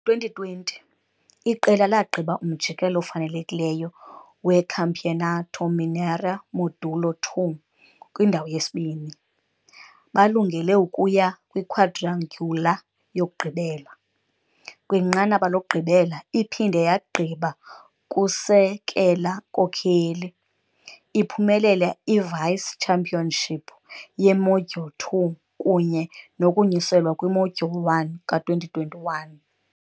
Ngo-2020, iqela lagqiba umjikelo ofanelekileyo weCampeonato Mineiro Módulo II kwindawo yesibini, balungele ukuya kwiquadrangular yokugqibela. Kwinqanaba lokugqibela, iphinde yagqiba kusekela-nkokeli, iphumelele i-vice-championship ye-Module II kunye nokunyuselwa kwi-Module I ka-2021.